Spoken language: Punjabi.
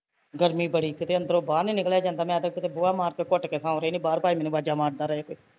ਗਰਮੀ ਬੜੀ ਤੇ ਕਿਤੇ ਅੰਦਰੋਂ ਬਾਹਰ ਨੀ ਨਿਕਲਿਆ ਜਾਂਦਾ ਮੈਂ ਤੇ ਕਿਤੇ ਬੂਹਾ ਮਾਰਕੇ ਘੁੱਟ ਕੇ ਸੋਂ ਰਹੀ ਬਾਹਰ ਭਾਂਵੇ ਮੈਂਨੂੰ ਆਵਾਜ਼ਾ ਮਾਰਦੇ ਰਹੇ ਕੋਈ